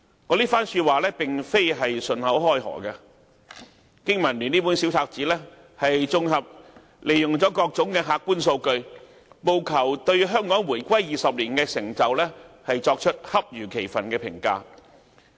我這番話並非信口開河，經民聯這本小冊子綜合了各種客觀數據，務求對香港回歸20年的成就作出恰如其分的評價。